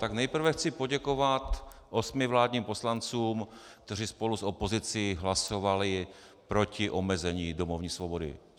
Tak nejprve chci poděkovat osmi vládním poslancům, kteří spolu s opozicí hlasovali proti omezení domovní svobody.